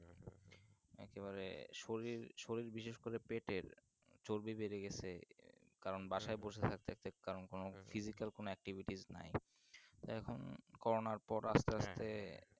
একেবারে শরীর শরীর বিশেষ করে পেটের চর্বি বেড়ে গেছে কারণ বাসায় বসে থাকতে থাকতে কারণ কোন Physical কোনো Activities নাই এখন করোনার পর আস্তে আস্তে